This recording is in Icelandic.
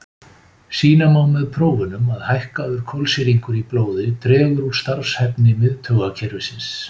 Sýna má með prófunum að hækkaður kolsýringur í blóði dregur úr starfshæfni miðtaugakerfisins.